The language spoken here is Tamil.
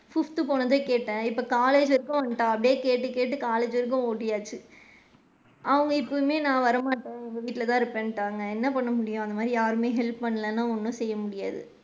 Fifth போனதும் கேட்டேன் இப்ப college வரைக்கும் வந்துட்டா அப்படியே கேட்டு கேட்டு college வரைக்கும் ஒட்டியாச்சு அவுங்க எப்பயுமே நான் வரமாட்டேன் எங்க வீட்ல தான் இருப்பேன்டாங்க என்ன பண்ண முடியும்? அந்த மாதிரி யாரும் help பண்ணலைனா ஒன்னும் செய்ய முடியாது.